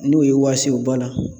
N'o y'i wasi o bana